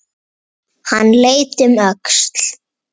Hann leit um öxl.